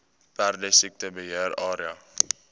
perdesiekte beheer area